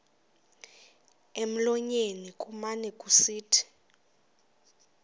emlonyeni kumane kusithi